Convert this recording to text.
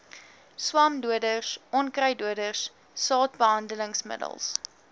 swamdoders onkruiddoders saadbehandelingsmiddels